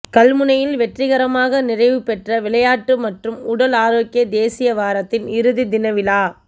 கல்முனையில் வெற்றிகரமாக நிறைவு பெற்ற விளையாட்டு மற்றும் உடல் ஆரோக்கிய தேசிய வாரத்தின் இறுதித் தின விழா